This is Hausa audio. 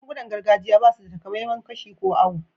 Magun-gunan gargajiya ba su da takamaiman kashi ko auwo.